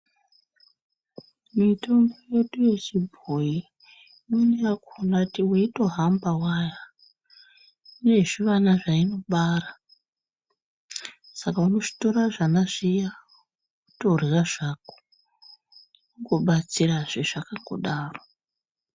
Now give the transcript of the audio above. Mitombo yedu yechibhoyi, imweni yakhona weitohamba waya, ine zvivana, zvainobara, saka unozvitora zvana zviya wotorya zvako, wobatsirazve zvakangodaro.